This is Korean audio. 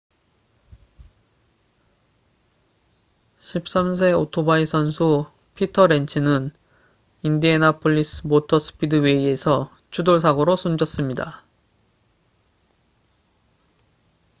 13세 오토바이 선수 피터 렌츠는 인디애나폴리스 모터 스피드웨이에서 추돌 사고로 숨졌습니다